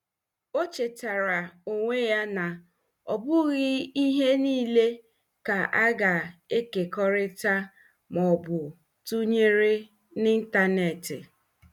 O chetaara onwe ya na ọ bụghị ihe niile ka a ga-ekekọrịta ma ọ bụ tụnyere n'ịntanetị.